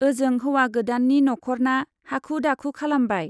ओजों हौवा गोदाननि नख'रना हाखु-दाखु खालामबाय।